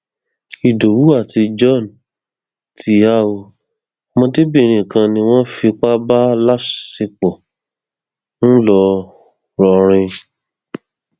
ìdòwú àti john ti há ọ ọmọdébìnrin kan ni wọn fipá bá láṣepọ ńlọrọrìn